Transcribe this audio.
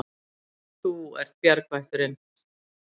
Þú ert bjargvætturin.